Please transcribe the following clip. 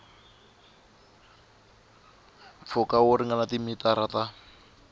mpfhuka wo ringana timitara ta